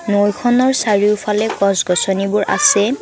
নৈ খনৰ চাৰিওফালে গছগছনি বোৰ আছে।